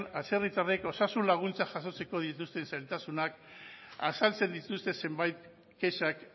atzerritarrek osasun laguntza jasotzeko dituzten zailtasunak azaltzen dituzten zenbait kexak